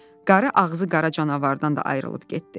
Qarı ağzı qara canavardan da ayrılıb getdi.